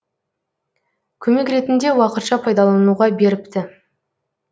көмек ретінде уақытша пайдалануға беріпті